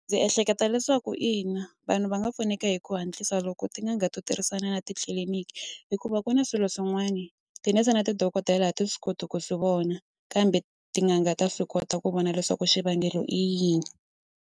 Ndzi ehleketa leswaku ina vanhu va nga pfuneka hi ku hatlisa loko tin'anga to tirhisana na titliliniki hikuva ku na swilo swin'wani tinese na tidokodela a ti swi koti ku swi vona kambe tin'anga ta swi kota ku vona leswaku xivangelo i yini.